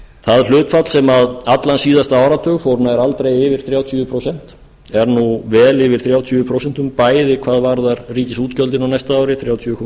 það hlutfall sem allan síðasta áratug fór nær aldrei yfir þrjátíu prósent er nú vel yfir þrjátíu prósent bæði hvað varðar ríkisútgjöldin á næsta ári þrjátíu komma